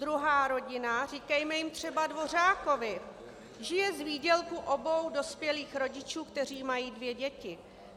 Druhá rodina, říkejme jim třeba Dvořákovi, žije z výdělku obou dospělých rodičů, kteří mají dvě děti.